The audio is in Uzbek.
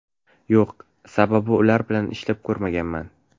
Yo‘q, sababi ular bilan ishlab ko‘rmaganman.